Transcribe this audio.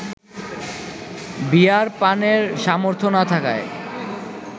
বিয়ার পানের সামর্থ্য না থাকায়